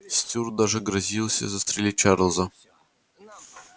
стюарт даже грозился застрелить чарлза